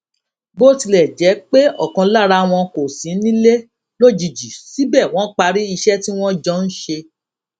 bó tilè jé pé òkan lára wọn kò sí nílé lójijì síbè wón parí iṣé tí wón jọ ń ṣe